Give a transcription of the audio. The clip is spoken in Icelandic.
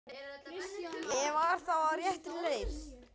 Ég var þá á réttri leið!